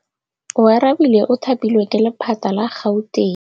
Oarabile o thapilwe ke lephata la Gauteng.